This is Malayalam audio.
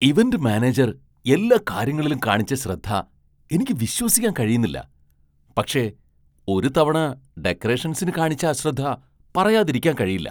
ഇവന്റ് മാനേജർ എല്ലാ കാര്യങ്ങളിലും കാണിച്ച ശ്രദ്ധ എനിക്ക് വിശ്വസിക്കാൻ കഴിയുന്നില്ല, പക്ഷേ ഒരു തവണ ഡെക്കറേഷൻസിന് കാണിച്ച അശ്രദ്ധ പറയാതിരിക്കാൻ കഴിയില്ല.